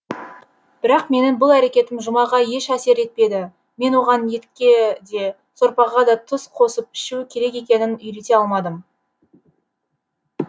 бірақ менің бұл әрекетім жұмаға еш әсер етпеді мен оған етке де сорпаға да тұз қосып ішу керек екенін үйрете алмадым